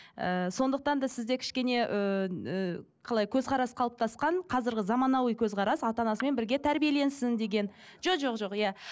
ыыы сондықтан да сізде кішкене ыыы қалай көзқарас қалыптасқан қазіргі заманауи көзқарас ата анасымен бірге тәрбиеленсін деген жоқ жоқ иә